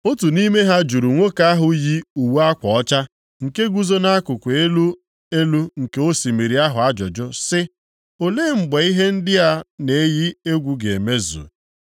Otu nʼime ha juru nwoke ahụ yi uwe akwa ọcha, nke guzo nʼakụkụ elu elu nke osimiri ahụ ajụjụ, sị, “Olee mgbe ihe ndị a na-eyi egwu ga-emezu?”